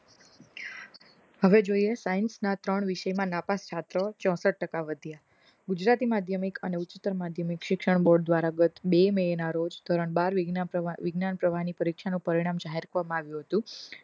હવે જોઈએ science ના ત્રણ વિષય મા નાપાસ છાત્ર ચોસઠ ટકા વધ્યા ગુજરાતી માધ્યમિક અને ઉચ્ચતર માધ્યમિક શિક્ષણ board દ્વારા બે મે ના રોજ ધોરણ બાર વિજ્ઞાન પ્રવાહ ની પરીક્ષાનું પરિણામ જાહેર કરવમાં આવ્યું હતું